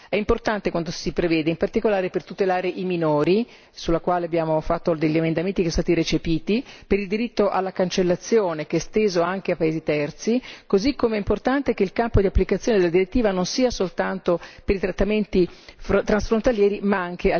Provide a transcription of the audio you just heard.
È importante quanto si prevede, in particolare per tutelare i minori, sui quali abbiamo fatto degli emendamenti che sono stati recepiti, per il diritto alla cancellazione che è esteso anche ai paesi terzi, così come è importante che il campo di applicazione della direttiva non sia soltanto per i trattamenti transfrontalieri, ma